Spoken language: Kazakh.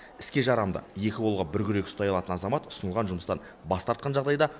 іске жарамды екі қолға бір күрек ұстай алатын азамат ұсынылған жұмыстан бас тартқан жағдайда